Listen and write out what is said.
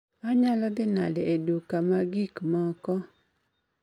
Anyalo dhi nade e duka ma gik moko